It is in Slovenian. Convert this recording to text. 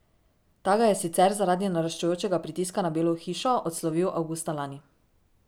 Ta ga je sicer zaradi naraščajočega pritiska na Belo hišo odslovil avgusta lani.